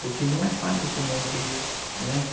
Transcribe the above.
Porque não é fácil se manter, né?